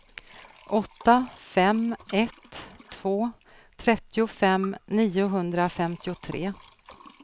åtta fem ett två trettiofem niohundrafemtiotre